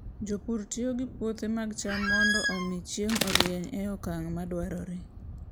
Jopur tiyo gi puothe mag cham mondo omi chieng' orieny e okang' madwarore.